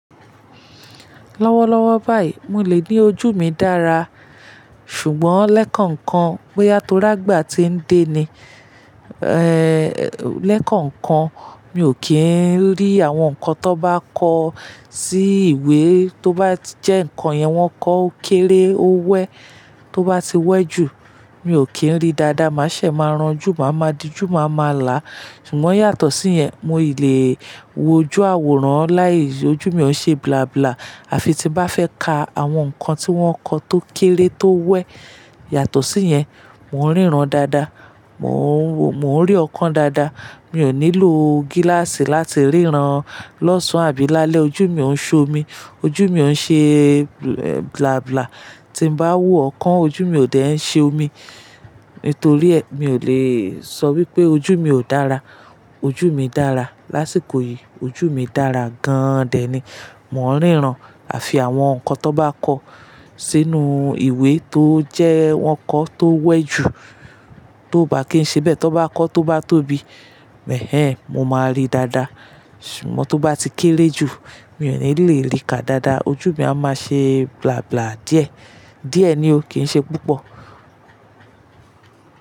Lọ́wọ́lọ́wọ́ báyìí, mo lè ní ojú mi dára. Ṣùgbọ́n lẹ́kankan, bóyá torí àgbà tí ń dé ni, lẹ́kankan mi ò kí ń rí àwọn nǹkan tó bá kọ sí ìwé tó bá tijẹ́ nǹkan yẹn wọ́n kọ ó kéré ó wẹ́ tó bá ti wẹ́ jù, mi ò kí ń rí dáadáa. Màá ṣẹ̀, máa ránjú, màá ma diju, màá ma là. Ṣùgbọ́n yàtọ̀ sí yẹn, moi lè wo ojú àwòrán láì ojú mi ó ń ṣe blàblà. Àfi tí mo bá fẹ́ ka àwọn nǹkan tí wọ́n kọ tó kéré tó wẹ́. Yàtọ̀ sí yẹn, mò ń ríran dáadáa, mò ń rí ọ̀kan dáadáa. Mi ò nílò gíláàsì láti ríran lọ́sàn-án àbí lálẹ́. Ojú mi ò ń ṣomi, ojú mi ò ń ṣe ẹ́ blàblà. Tí ń bá wo ọ̀kan, ojú mi ò dẹ́ ń ṣe omi. Nítorí ẹ́, mi ò lè sọ wípé ojú mi ò dára. Ojú mi dára. Lásìkò yìí ojú mi dára gan dé ni. Mò ń ríran. Àfi àwọn nǹkan tó bá kọ sínú ìwé tó jẹ́ wọ́n kọ tó wẹ́ jù, tó bá kì ń ṣe bẹ́ẹ̀, tó bá kọ tó bá tóbi, mo máa rí dáadáa. Ṣùgbọ́n tó bá ti kéré jù, mi ò ní le rí ka dáadáa. Ojú mi a máa ṣe blàblà díẹ̀. Díẹ̀ ni ó, kì ń ṣe púpọ̀.